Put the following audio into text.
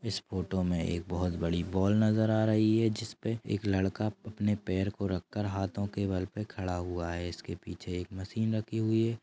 इस फोटो में एक बहुत बड़ी बॉल नजर आ रही है जिसपे एक लड़का अपने पैर को रखकर हाथों के बल पे खड़ा हुआ है इसके पीछे एक मशीन रखी हुई है।